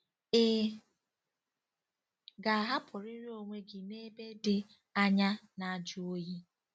Ị ga-ahapụrịrị onwe gị n'ebe dị anya na-ajụ oyi?